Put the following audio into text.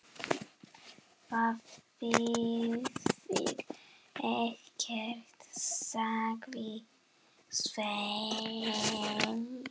Það þýðir ekkert, sagði Svenni.